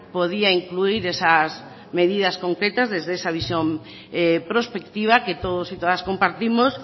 podía incluir esas medidas concretas desde esa visión prospectiva que todos y todas compartimos